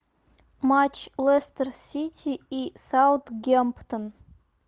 матч лестер сити и саутгемптон